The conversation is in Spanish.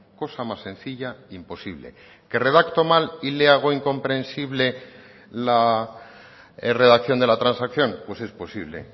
cosa más sencilla imposible que redacto mal y le hago incomprensible la redacción de la transacción pues es posible